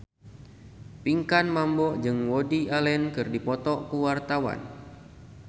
Pinkan Mambo jeung Woody Allen keur dipoto ku wartawan